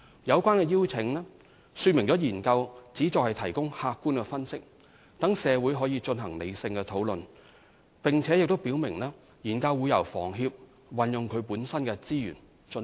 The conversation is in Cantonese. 有關的邀請說明了研究旨在提供客觀分析，讓社會可進行理性討論，並且表明研究將會由房協運用其資源進行。